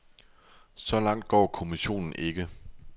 Så langt går kommissionen ikke.